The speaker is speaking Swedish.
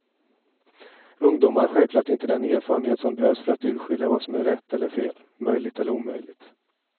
Ungdomar har självklart inte den erfarenhet som behövs för att urskilja vad som är rätt eller fel, möjligt eller omöjligt.